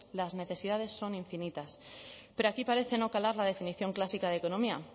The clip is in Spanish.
las necesidades son infinitas pero aquí parece no calar la definición clásica de economía